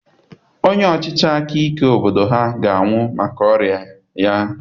Onye ọchịchị aka ike obodo ha ga-anwụ maka ọrịa ya.